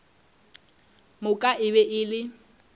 moka e be e le